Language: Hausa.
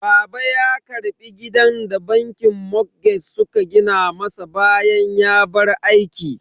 Baba ya karbi gidan da bankin motgeg suka gina masa bayan ya bar aiki.